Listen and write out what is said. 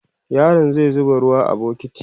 yaron zai zuba ruwa a bukiti